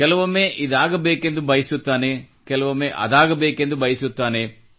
ಕೆಲವೊಮ್ಮೆ ಇದಾಗಬೇಕೆಂದು ಬಯಸುತ್ತಾನೆ ಕೆಲವೊಮ್ಮೆ ಅದಾಗಬೇಕೆಂದು ಬಯಸುತ್ತಾನೆ